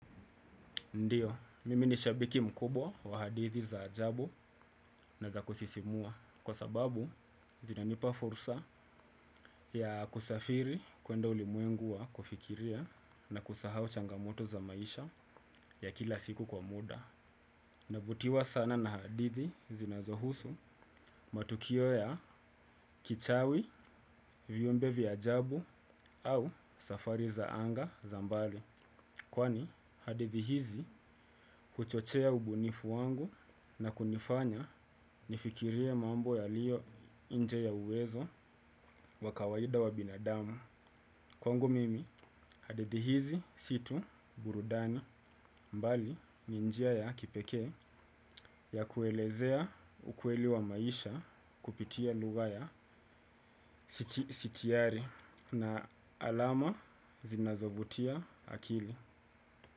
Ndiyo, mimi ni shabiki mkubwa wa hadithi za ajabu na za kusisimua, kwa sababu zinanipa fursa ya kusafiri kuenda ulimwengu wa kufikiria na kusahau changamoto za maisha ya kila siku kwa muda. Navutiwa sana na hadithi zinazohusu matukio ya kichawi, viumbe vya ajabu au safari za anga za mbali. Kwani hadithi hizi kuchochea ubunifu wangu na kunifanya nifikirie mambo yaliyo nje ya uwezo wa kawaida wa binadamu. Kwangu mimi hadithi hizi si tu burudani mbali ni njia ya kipekee ya kuelezea ukweli wa maisha kupitia lugha ya sitiari na alama zinazovutia akili.